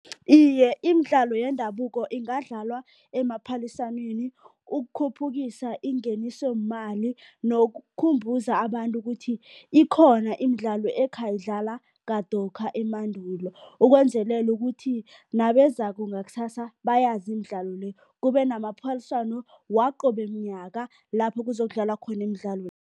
Iye, imidlalo yendabuko ingadlalwa emaphaliswaneni ukukhuphukisa ingenisomali nokukhumbuza abantu ukuthi ikhona imidlalo ekhayidlalwa kadokha emandulo, ukwenzelela ukuthi nabezako ngakusasa bayazi imidlalo le, kube namaphaliswano waqobe mnyaka lapho kuzokudlalwa khona imidlalo